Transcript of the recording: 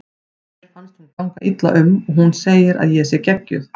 Mér finnst hún ganga illa um og hún segir að ég sé geggjuð.